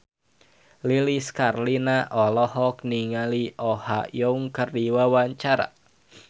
Lilis Karlina olohok ningali Oh Ha Young keur diwawancara